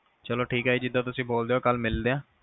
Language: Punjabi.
ਚਲੋ ਠੀਕ ਆ ਜਿਹਦਾ ਤੁਸੀਂ ਬੋਲਦੇ ਉ ਕੱਲ ਮਿਲਦੇ ਆ